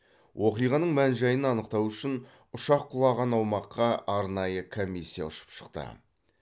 оқиғаның мән жайын анықтау үшін ұшақ құлаған аумаққа арнайы комиссия ұшып шықты